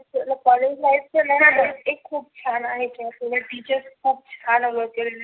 College life तर एक खुप छान आहे किंवा टीचर्स खुप छान असतात.